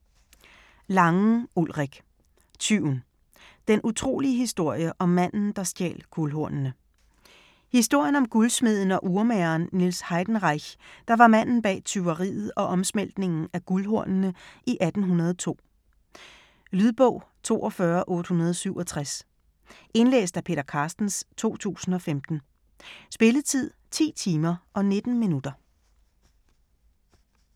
Langen, Ulrik: Tyven: den utrolige historie om manden, der stjal guldhornene Historien om guldsmeden og urmageren Niels Heidenreich (1761-1844), der var manden bag tyveriet og omsmeltningen af guldhornene i 1802. Lydbog 42867 Indlæst af Peter Carstens, 2015. Spilletid: 10 timer, 19 minutter.